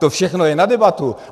To všechno je na debatu.